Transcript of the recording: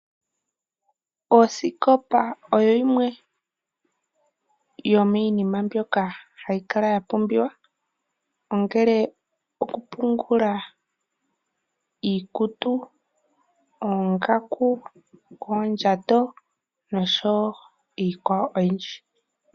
Osikopa oyo yimwe yomiinima mbyoka hayi kala ya pumbiwa. Ongele okupungula iikutu, oongaku, oondjato, noshowo iikwawo oyindji.